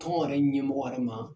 Tɔn yɛrɛ ɲɛmɔgɔ yɛrɛ ma